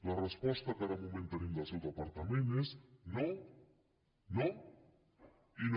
la resposta que de moment tenim del seu departament és no no i no